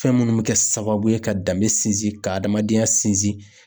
Fɛn minnu bɛ kɛ sababu ye ka danbe sinsin ka adamadenya sinsin.